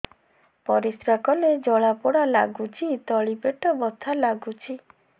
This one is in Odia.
ପରିଶ୍ରା କଲେ ଜଳା ପୋଡା ଲାଗୁଚି ତଳି ପେଟ ବଥା ଲାଗୁଛି